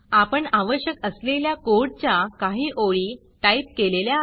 आपण आवश्यक असलेल्या कोडच्या काही ओळी टाईप केलेल्या आहेत